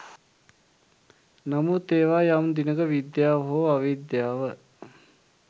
නමුත් ඒවා යම් දිනක විද්‍යාව හෝ අවිද්‍යාව